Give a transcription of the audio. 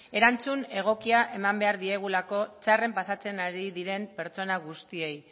erantzun egokia eman behar diogulako txarren pasatzen ari diren pertsona guztiei